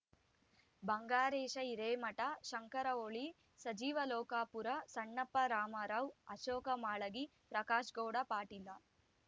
Bangaresh Hiremath Shankar Holi Sajeev Lokapur Sannappa Ramrao Ashok Malagi Prakashgouda Patil